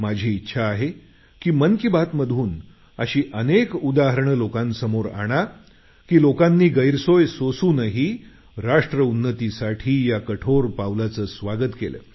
माझी इच्छा आहे की मन की बातमधून अशी अनेक उदाहरणे लोकांसमोर आणा की लोकांनी गैरसोय सोसूनही राष्ट्र उन्नतीसाठी या कठोर पावलाचं स्वागत केलं